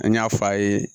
An y'a fɔ a ye